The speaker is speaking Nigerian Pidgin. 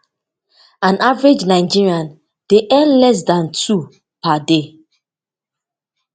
an average nigerian dey earn less dan two per day